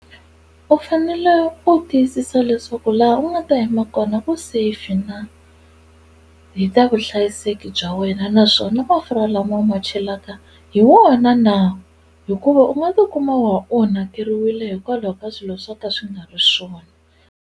U fanele u tiyisisa leswaku laha u nga ta yima kona ku safe na hi ta vuhlayiseki bya wena naswona mafurha lama u ma chelaka hi wona na hikuva u nga tikuma u onhakeriwile hikwalaho ka swilo swo ka swi nga ri swona.